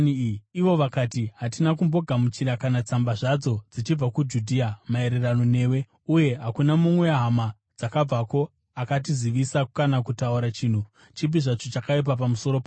Ivo vakati, “Hatina kumbogamuchira kana tsamba zvadzo dzichibva kuJudhea maererano newe, uye hakuna mumwe wehama dzakabvako akatizivisa kana kutaura chinhu chipi zvacho chakaipa pamusoro pako.